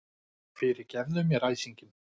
Fyrirgefðu mér æsinginn.